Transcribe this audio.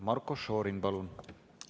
Marko Šorin, palun!